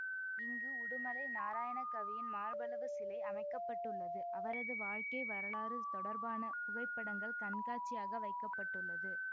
இங்கு உடுமலை நாராயணகவியின் மார்பளவு சிலை அமைக்க பட்டுள்ளது அவரது வாழ்க்கை வரலாறு தொடர்பான புகைப்படங்கள் கண்காட்சியாக வைக்க பட்டுள்ளது